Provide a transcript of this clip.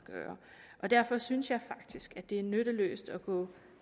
gøre og derfor synes jeg faktisk at det er nytteløst at gå